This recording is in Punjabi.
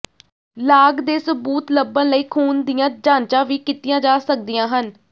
ਲਾਗ ਦੇ ਸਬੂਤ ਲੱਭਣ ਲਈ ਖੂਨ ਦੀਆਂ ਜਾਂਚਾਂ ਵੀ ਕੀਤੀਆਂ ਜਾ ਸਕਦੀਆਂ ਹਨ